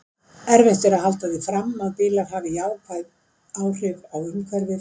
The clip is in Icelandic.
Erfitt er að halda því fram að bílar hafi jákvæð áhrif á umhverfið.